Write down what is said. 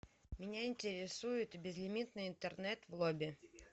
меня интересует безлимитный интернет в лобби